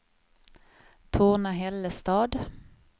Torna-Hällestad